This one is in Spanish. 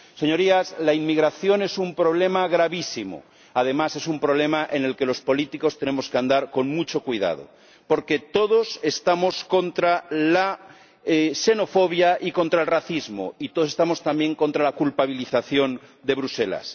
Señorías, la inmigración es un problema gravísimo además, es un problema en el que los políticos tenemos que andar con mucho cuidado, porque todos estamos contra la xenofobia y contra el racismo, y todos estamos también contra la culpabilización de Bruselas.